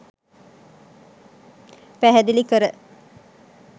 පැහැදිලි කර